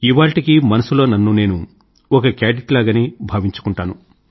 ఇవాళ్టికీ మనసులో నన్ను నేను ఒక కేడెట్ లాగే భావించుకుంటాను